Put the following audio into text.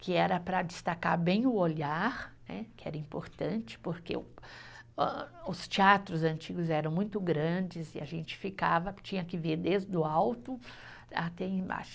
Que era para destacar bem o olhar, né, que era importante, porque o ah os teatros antigos eram muito grandes e a gente ficava, tinha que ver desde o alto até embaixo.